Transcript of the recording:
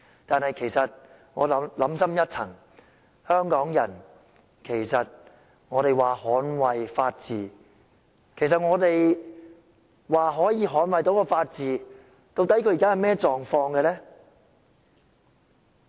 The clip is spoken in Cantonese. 然而，想深一層，香港人說捍衞法治，其實我們可以捍衞的法治現時的狀況究竟是怎樣呢？